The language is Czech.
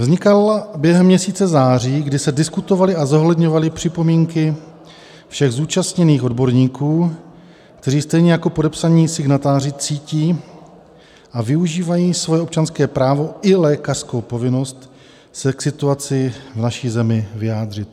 Vznikala během měsíce září, kdy se diskutovaly a zohledňovaly připomínky všech zúčastněných odborníků, kteří stejně jako podepsaní signatáři cítí a využívají svoje občanské právo i lékařskou povinnost se k situaci v naší zemi vyjádřit.